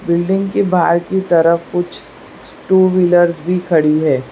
Building के बाहर की तरफ कुछ टु व्हीलरस भी खड़ी है।